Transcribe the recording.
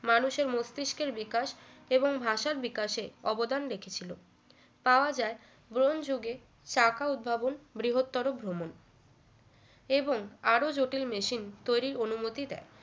মানুষের মস্তিষ্কের বিকাশ এবং ভাষার বিকাশে অবদান দেখেছিলো পাওয়া যায় গ্রহণযুগে শাখা উদ্ভাবন বৃহত্তর ভ্রমণ এবং আরো জটিল machine তৈরির অনুমতি দেয়